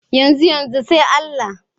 Yanzu-yanzu, sai Allah.